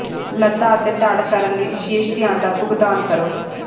ਲਤ੍ਤਾ ਅਤੇ ਧੜ ਕਰਨ ਲਈ ਵਿਸ਼ੇਸ਼ ਧਿਆਨ ਦਾ ਭੁਗਤਾਨ ਕਰੋ